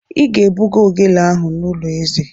Ị ga-ebuga ogele ahụ n'ụlọ eze!